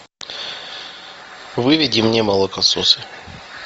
выведи мне молокососы